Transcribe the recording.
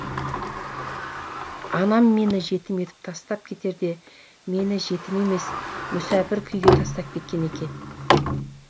анам мені жетім етіп тастап кетерде мені жетім емес мүсәпір күйге тастап кеткен екен